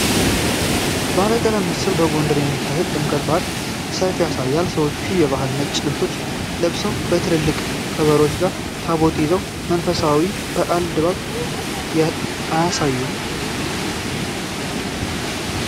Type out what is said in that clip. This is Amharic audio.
ባለቀለም ምስል በጎንደር የሚካሄደውን የጥምቀት በዓል ሰልፍ ያሳያል፤ ሰዎች የባህል ነጭ ልብሶችን ለብሰው ከትልልቅ ከበሮዎች ጋር ታቦቱን ይዘው የመንፈሳዊ በዓልን ድባብ አያሳዩም?